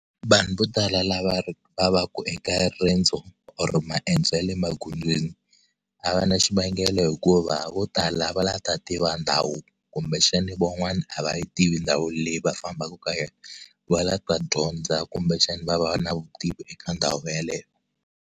Vanhu vo tala lava va va ka eka riendzo or maendzo ya le magondzweni a va na xivangelo hikuva vo tala va la ta tiva ndhawu kumbe xana van'wana a va yi tivi ndhawu leyi va fambaka ka yona va lava ku ta dyondza kumbe xana va va na vutivi eka ndhawu yaleyo.